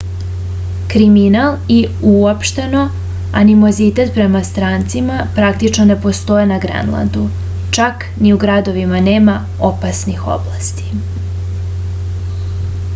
kriminal i uopšteno animozitet prema strancima praktično ne postoje na grenlandu čak ni u gradovima nema opasnih oblasti